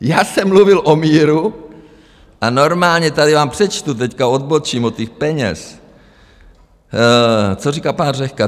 Já jsem mluvil o míru a normálně, tady vám přečtu, teď odbočím od těch peněz, co říká pan Řehka.